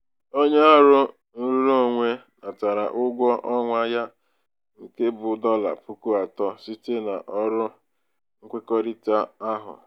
onye ọrụ nrụrụonwe natara ụgwọ ọnwa ya nke bụ dọla puku atọ site n'ọrụ nkwekọrịta ahụ.